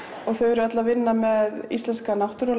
og þau eru öll að vinna með íslenska náttúru og